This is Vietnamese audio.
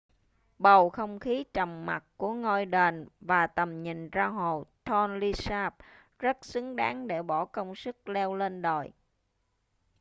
bầu không khí trầm mặc của ngôi đền và tầm nhìn ra hồ tonle sap rất xứng đáng để bỏ công sức leo lên đồi